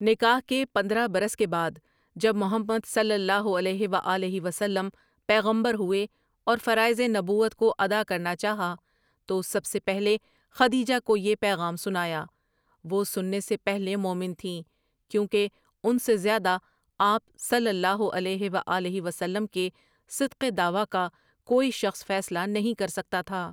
نکاح کے پندرہ برس کے بعد جب محمد صلی اللہ علیہ و آلہ و سلم پیغمبر ہوئے اور فرائض نبوت کو ادا کرنا چاہا تو سب سے پہلے خدیجہ کو یہ پیغام سنایا وہ سننے سے پہلے مومن تھیں، کیونکہ ان سے زیادہ آپ صلی اللہ علیہ و آلہ و سلم کے صدق دعویٰ کا کوئی شخص فیصلہ نہیں کر سکتا تھا۔